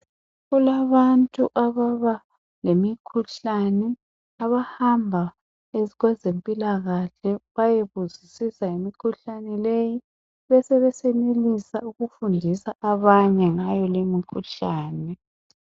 Kulabantu ababa lemikhuhlane abahamba kwezempilakahle bayebuzisisa ngemikhuhlane leyi besebe senelisa ukufundisa abanye ngayo le mikhuhlane .